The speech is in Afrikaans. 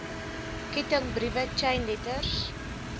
kettingbriewe chain letters